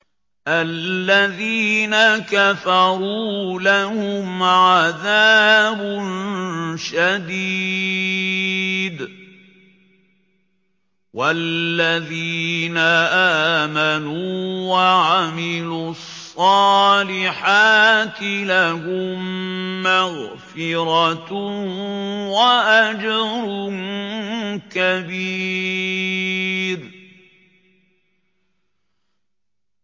الَّذِينَ كَفَرُوا لَهُمْ عَذَابٌ شَدِيدٌ ۖ وَالَّذِينَ آمَنُوا وَعَمِلُوا الصَّالِحَاتِ لَهُم مَّغْفِرَةٌ وَأَجْرٌ كَبِيرٌ